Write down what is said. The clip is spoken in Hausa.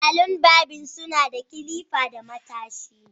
Salon barbing suna da clipper da matashi.